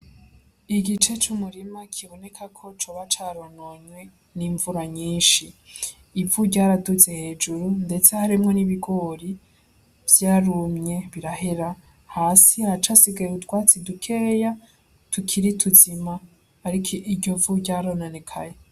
Igice c'umurima kibonekako Cuba carononwe n'imvura nyinshi. Ivu ryaduze hejuru ndetse harimwo n'ibigori, vyarumye birahera. Hasi haracasigaye utwatsi dukeyi tukiri tuzima ariko iryo vu ryarononekaye.